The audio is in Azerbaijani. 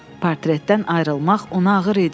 Portretdən ayrılmaq ona ağır idi.